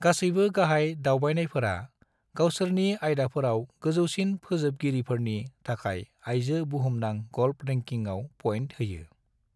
गासैबो गाहाय दावबायनायफोरा गावसोरनि आयदाफोराव गोजौसिन फोजोबगिरिफोरनि थाखाय आयजो बुहुमनां गल्फ रेंकिंआव पइन्ट होयो।